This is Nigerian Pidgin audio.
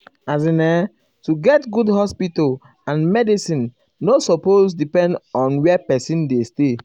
--- as in[um]to get good hospital and medicin nor supose depend on where pesin dey stay.